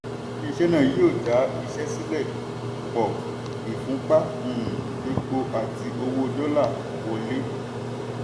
ilé-iṣẹ́ náà yóò dá iṣẹ́ sílẹ̀ pọ̀ ìfúnpá um epo àti owó dọ́là wọlé.